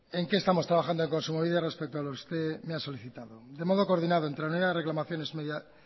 en qué estamos trabajando en kontsumobide respecto a lo que usted me ha solicitado de modo coordinado entre la unidad de reclamaciones